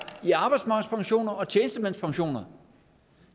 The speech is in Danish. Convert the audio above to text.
i arbejdsmarkedspensioner og i tjenestemandspensioner